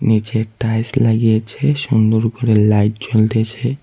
নীচে টাইলস লাগিয়েছে সুন্দর করে লাইট জ্বলতেসে।